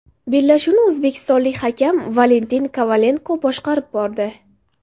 Bellashuvni o‘zbekistonlik hakam Valentin Kovalenko boshqarib bordi.